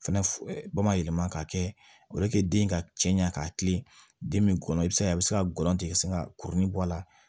Fɛnɛ bamayɛlɛma ka kɛ den ka cɛɲa k'a kilen den min kɔnɔ i b'a ye a be se ka gɔlɔntɛ ka sin ka kurunin bɔ a la